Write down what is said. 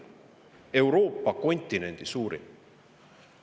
Euroopa kontinendi suurim.